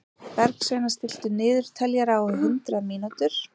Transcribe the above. Bergsveina, stilltu niðurteljara á hundrað mínútur.